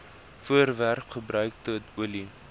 voorwerpe gebruikte olie